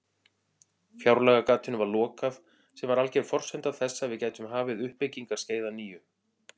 Fjárlagagatinu var lokað sem var alger forsenda þess að við gætum hafið uppbyggingarskeið að nýju.